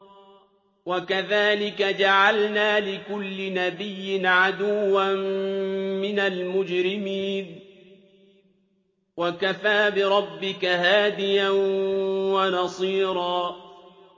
وَكَذَٰلِكَ جَعَلْنَا لِكُلِّ نَبِيٍّ عَدُوًّا مِّنَ الْمُجْرِمِينَ ۗ وَكَفَىٰ بِرَبِّكَ هَادِيًا وَنَصِيرًا